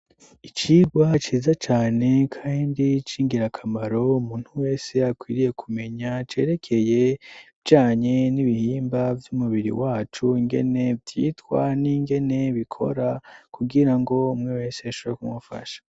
icigwa ciza cane kandi cingira akamaro umuntu wese akwiriye kumenya cerekeye ibizanye n'ibihimba vy'umubiri wacu ngene vyitwa n'ingene bikora kugirango umwe wese ashobore kumufasha